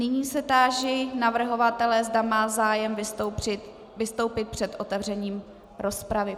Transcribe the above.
Nyní se táži navrhovatele, zda má zájem vystoupit před otevřením rozpravy.